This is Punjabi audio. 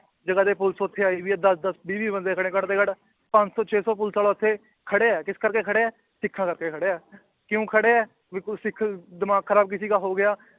ਜਗ੍ਹਾ ਦੀ ਪੁਲਿਸ ਉੱਥੇ ਆਈ ਹੋਈ ਹੈ ਦਸ ਦਸ ਵੀਹ ਵੀਹ ਬੰਦੇ ਖੜੇ ਘੱਟ ਤੋਂ ਘੱਟ ਪੰਜ ਸੌ ਛੇ ਸੌ ਪੁਲਿਸ ਵਾਲਾ ਉੱਥੇ ਖੜਿਆ ਹੈ ਕਿਸ ਕਰਕੇ ਖੜਿਆ ਹੈ, ਸਿੱਖਾਂ ਕਰਕੇ ਖੜਿਆ ਹੈ ਕਿਉਂ ਖੜਿਆ ਹੈ ਵੀ ਕੋਈ ਸਿੱਖ ਦਿਮਾਗ ਖਰਾਬ ਕਿਸੇ ਦਾ ਹੋ ਗਿਆ